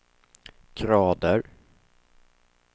grader